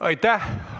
Aitäh!